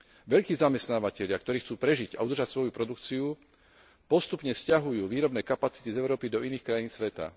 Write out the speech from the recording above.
Veľkí zamestnávatelia, ktorí chcú prežiť a udržať svoju produkciu, postupne sťahujú výrobné kapacity z Európy do iných krajín sveta.